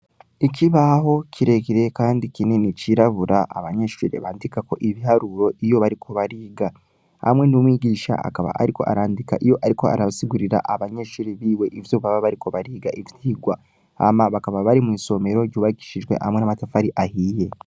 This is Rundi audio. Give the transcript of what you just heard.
Ikibaho kiregire, kandi kinini cirabura abanyeshurire bandika ko ibiharuro iyo bariko bariga hamwe n'umwigisha akaba, ariko arandika iyo, ariko arasigurira abanyeshuri biwe ivyo baba bariko bariga ivirwa ama bakaba bari mw'isomero ryubagishijwe hamwe n'amatafari ahiye.